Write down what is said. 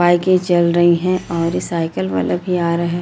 बाईकें चल रही हैं और ये साइकिल वाला भी आ रहा है।